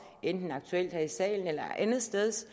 enten aktuelt her i salen eller andetsteds